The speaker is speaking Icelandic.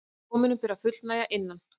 Dóminum ber að fullnægja innan